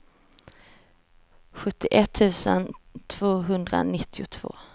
sjuttioett tusen tvåhundranittiotvå